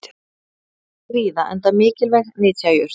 hún er ræktuð víða enda mikilvæg nytjajurt